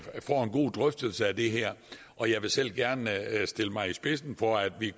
god drøftelse af det her og jeg vil selv gerne stille mig i spidsen for at vi